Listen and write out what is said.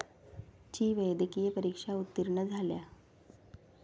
ची वैद्यकीय परीक्षा उत्तीर्ण झाल्या.